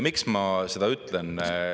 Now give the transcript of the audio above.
Miks ma seda ütlen?